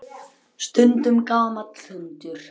Stundum gamall hundur.